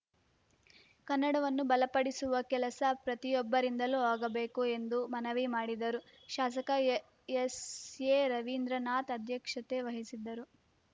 ಕನ್ನಡವನ್ನು ಬಲಪಡಿಸುವ ಕೆಲಸ ಪ್ರತಿಯೊಬ್ಬರಿಂದಲೂ ಆಗಬೇಕು ಎಂದು ಮನವಿ ಮಾಡಿದರು ಶಾಸಕ ಎಎಸ್‌ಎರವೀಂದ್ರನಾಥ ಅಧ್ಯಕ್ಷತೆ ವಹಿಸಿದ್ದರು